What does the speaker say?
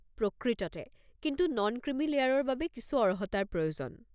প্ৰকৃততে! কিন্তু non creamy লেয়াৰৰ বাবে কিছু অৰ্হতাৰ প্ৰয়োজন।